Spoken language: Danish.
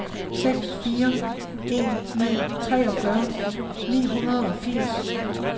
seks fire en ni treogfyrre ni hundrede og firs